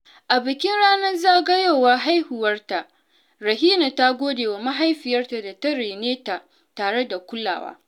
A bikin ranar zagayowar haihuwarta, Rahina ta gode wa mahaifiyarta da ta rene ta tare da kulawa.